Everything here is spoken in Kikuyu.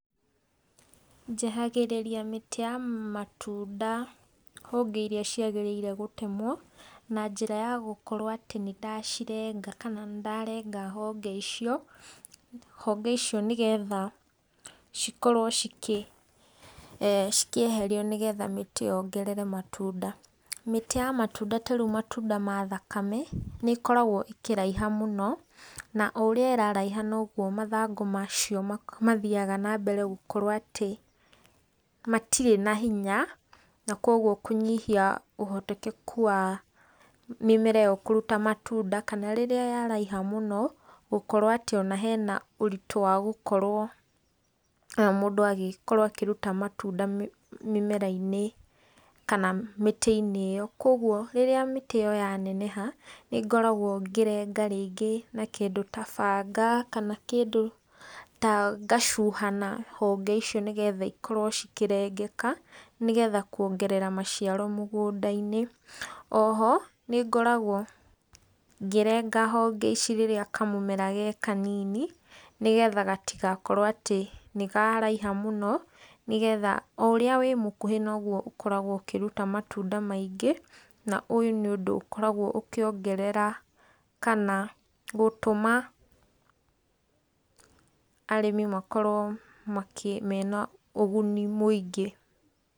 Njehagĩrĩria mĩtĩ ya matunda honge iria ciagĩrĩire gũtemwo na njĩra ya gũkorwo atĩ nĩ ndacirenga kana nĩ ndarenga honge icio, honge icio nĩgetha cikorwo cikĩeherio nĩgetha mĩtĩ yongerere matunda. Mĩtĩ ya matunda ta riũ matunda ma thakame nĩ ikoragwo ikĩraiha mũno na o ũria ĩraraiha noguo mathangu macio mathiaga na mbere gũkorwo atĩ matirĩ na hinya na koguo kũnyĩhia ũhoteteku wa mĩmera ĩyo kũrũta matunda kana rĩrĩa yaraĩha mũno gũkorwo atĩ ona hena ũritu wa gũkorwo mũndũ agĩkorwo akĩrũta matunda mĩmera-inĩ kana mĩtĩ-ini ĩyo ,koguo rĩrĩa mĩtĩ ĩyo yaneneha nĩ ngoraguo ngĩrenga rĩngĩ na kĩndũ ta banga kana kĩndũ ta ngacuha na honge icio nĩgetha ikorwo ikĩrengeka nĩgetha kũongerera maciaro mũgũnda-inĩ. O ho nĩngoragwo ngĩrenga honge ici rĩrĩa kamũmera ge kanini nĩgetha gatigakorwo atĩ nĩ karaiha mũno nĩgetha o ũrĩa wĩ mukũhĩ noguo ũkoragwo ũkĩruta matunda maingĩ na ũyũ nĩ ũndũ ũkoragwo ũkĩongerera kana gũtũma arĩmi makorwo mena ũguni mũingĩ.